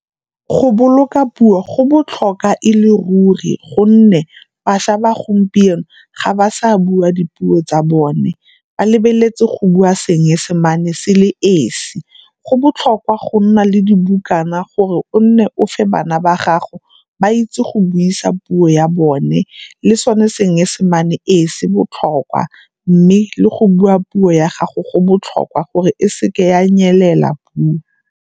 Go boloka puo go botlhoka e le ruri gonne bašwa ba gompieno ga ba sa bua dipuo tsa bone. Ba lebeletse go bua Seesemane se le esi. Go botlhokwa go nna le dibukana gore o nne o fa bana ba gago ba itse go buisa puo ya bone le sone Seesemane ee, se botlhokwa mme le go bua puo ya gago go botlhokwa gore e seke ya nyelela puo.